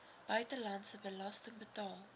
buitelandse belasting betaal